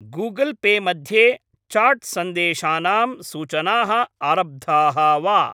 Google Pay मध्ये chat सन्देशानां सूचनाः आरब्धाः वा?